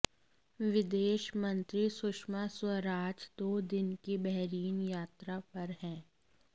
विदेश मंत्री सुषमा स्वराज दो दिन की बहरीन यात्रा पर हैं